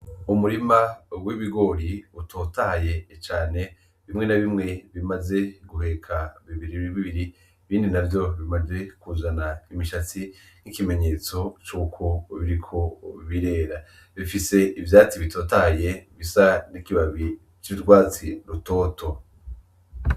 Umurima w'ibigori utotahaye cane bimwe na bimwe bimaze guheka bibiri bibiri ibindi navyo bimaze kuzana imishatsi nk'ikimenyetso cuko biriko birera, bifise ivyatsi bitotahaye bisa n'ikibabi c'ugwatsi rutoto.